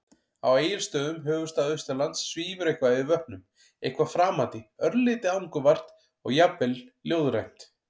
Á Egilsstöðum, höfuðstað Austurlands, svífur eitthvað yfir vötnum- eitthvað framandi, örlítið angurvært og jafnvel ljóðrænt.